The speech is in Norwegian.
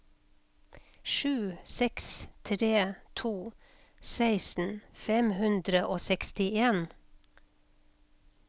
sju seks tre to seksten fem hundre og sekstien